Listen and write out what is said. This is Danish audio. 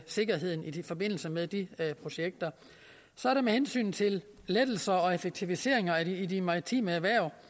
sikkerheden i forbindelse med de projekter så er der med hensyn til lettelser og effektiviseringer i de maritime erhverv